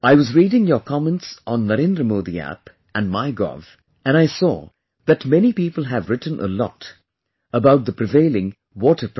I was reading your comments on NarendraModi App and Mygov and I saw that many people have written a lot about the prevailing water problem